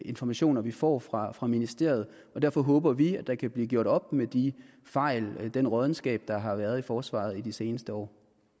informationer vi får fra fra ministeriet og derfor håber vi at der kan blive gjort op med de fejl den råddenskab der har været i forsvaret i de seneste år